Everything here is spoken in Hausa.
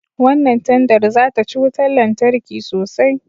Wannan tandar za ta ci wutan lantarki sosai